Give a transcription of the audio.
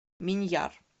миньяр